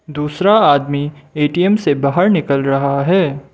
दूसरा आदमी ए_टी_एम से बाहर निकल रहा है।